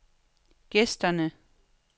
gæsterne